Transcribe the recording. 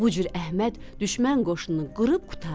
Bu cür Əhməd düşmən qoşununu qırıb qurtardı.